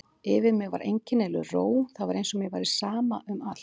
Yfir mér var einkennileg ró, það var eins og mér væri sama um allt.